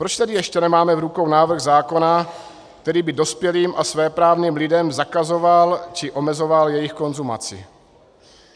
Proč tedy ještě nemáme v rukou návrh zákona, který by dospělým a svéprávným lidem zakazoval či omezoval jejich konzumaci?